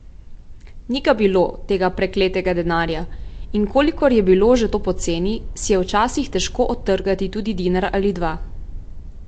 Ni ga bilo, tega prekletega denarja, in kolikor je bilo že to poceni, si je včasih težko odtrgati tudi dinar ali dva.